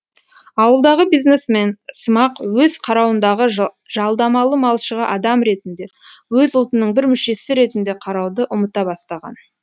ауылдағы бизнесмен сымақ өз қарауындағы жалдамалы малшыға адам ретінде өз ұлтының бір мүшесі ретінде қарауды ұмыта бастаған